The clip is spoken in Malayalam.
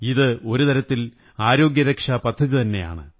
ഇത് ഒരു തരത്തിൽ ആരോഗ്യരക്ഷാ പദ്ധതിതന്നെയാണ്